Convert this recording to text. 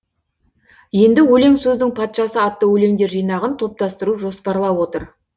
енді өлең сөздің патшасы атты өлеңдер жинағын топтастыру жоспарлап отыр